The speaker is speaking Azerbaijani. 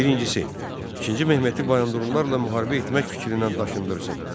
Birincisi, İkinci Mehmeti Bayandurlularla müharibə etmək fikrindən daşındırsın.